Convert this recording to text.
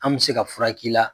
An bɛ se ka fura k'i la